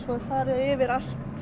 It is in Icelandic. svo er farið yfir allt